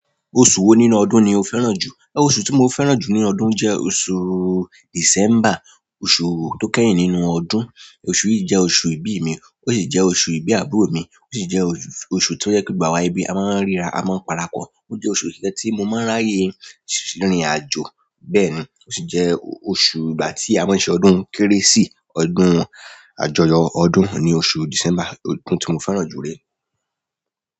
Oṣù wo nínú ọdún ni o fẹ́ràn jù? Ẹ oṣù tí mo fẹ́ràn jù nínú ọdún jẹ́ oṣù December, oṣù tó kẹ́yin nínú ọdún. Oṣù yìí jẹ́ oṣù ìbí mi, ó sì jẹ́ oṣù ìbí àbúrò mi, ó sì jẹ́ oṣù tí ó jẹ pe gbogbo awa ẹbi a máa ń ríra, a máa ń parapọ̀. Ó jẹ́ oṣù kan tí mo máa ń ráyè sínú ìrìn àjò. Bẹ́ẹ̀ ni, ó sì jẹ́ oṣù ìgbà tí a máa ń ṣe ọdún Kérésì, ọdún àjọyọ̀ ọdún ni oṣù December, ọdún tí mo fẹ́ràn jù rí.